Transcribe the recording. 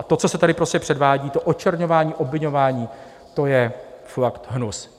A to, co se tady prostě předvádí, to očerňování, obviňování, to je fakt hnus.